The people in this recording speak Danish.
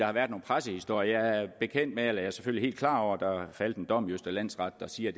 har været nogle pressehistorier jeg er selvfølgelig helt klar over at der er faldet en dom i østre landsret der siger